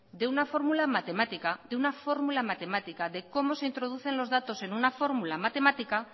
de una fórmula matemática de cómo se introducen los datos en una fórmula matemática